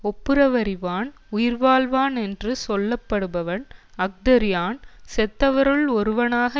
ஒப்புரவறிவான் உயிர்வாழ்வான் என்று சொல்லப்படுவன் அஃதறியான் செத்தவருள் ஒருவனாக